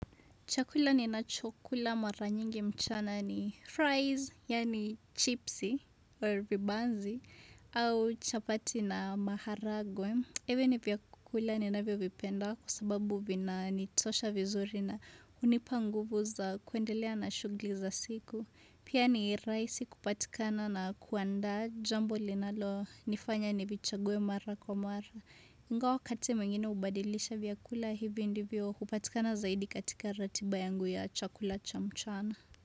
Chakula ninachokula mara nyingi mchana ni fries, yaani chipsi, or vibanzi, au chapati na maharagwe. Hivi ni vyakula ninavyovipenda kwa sababu vinanitosha vizuri na hunipa nguvu za kuendelea na shughuli za siku. Pia ni rahisi kupatikana na kuanda jambo linalonifanya nivichague mara kwa mara. Ingawa wakati mwingine hubadilisha vyakula hivi ndivyo hupatikana zaidi katika ratiba yangu ya chakula cha mchana.